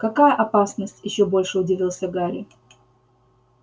какая опасность ещё больше удивился гарри